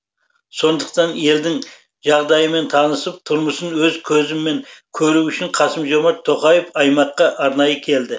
сондықтан елдің жағдайымен танысып тұрмысын өз көзімен көру үшін қасым жомарт тоқаев аймаққа арнайы келді